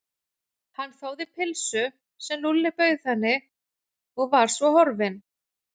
Hún þáði pylsu sem Lúlli bauð henni og var svo horfin.